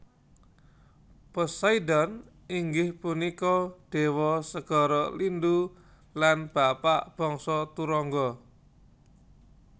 Poseidon inggih punika déwa segara lindhu lan bapa bangsa turangga